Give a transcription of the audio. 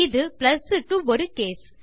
இது பிளஸ் க்கு ஒரு கேஸ்